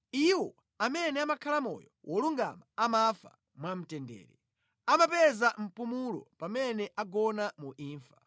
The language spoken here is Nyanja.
Iwo amene amakhala moyo wolungama amafa mwamtendere; amapeza mpumulo pamene agona mu imfa.